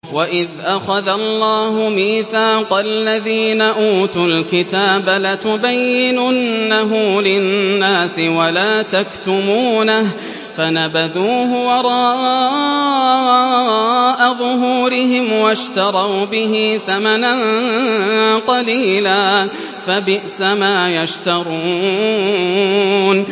وَإِذْ أَخَذَ اللَّهُ مِيثَاقَ الَّذِينَ أُوتُوا الْكِتَابَ لَتُبَيِّنُنَّهُ لِلنَّاسِ وَلَا تَكْتُمُونَهُ فَنَبَذُوهُ وَرَاءَ ظُهُورِهِمْ وَاشْتَرَوْا بِهِ ثَمَنًا قَلِيلًا ۖ فَبِئْسَ مَا يَشْتَرُونَ